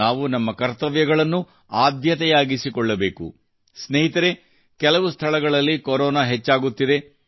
ನಾವು ನಮ್ಮ ಕರ್ತವ್ಯಗಳನ್ನು ಆದ್ಯತೆಯಾಗಿಸಿಕೊಳ್ಳಬೇಕುಸ್ನೇಹಿತರೇ ಕೆಲವು ಸ್ಥಳಗಳಲ್ಲಿ ಕೊರೋನಾ ಹೆಚ್ಚಾಗುತ್ತಿದೆ